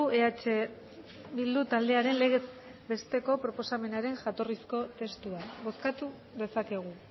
eh bildu taldearen legez besteko proposamenaren jatorrizko testua bozkatu dezakegu